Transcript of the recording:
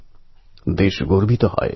অন্ধকার দূর হবেই